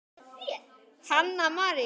Hanna María.